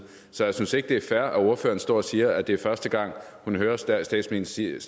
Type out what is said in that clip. så jeg synes ikke det er fair at ordføreren står og siger at det er første gang hun hører statsministeren sige